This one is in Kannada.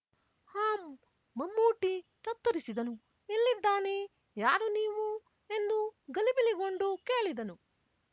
ಹಾಂ ಮಮ್ಮೂಟಿ ತತ್ತರಿಸಿದನು ಎಲ್ಲಿದ್ದಾನೆ ಯಾರು ನೀವು ಎಂದು ಗಲಿಬಿಲಿಗೊಂಡು ಕೇಳಿದನು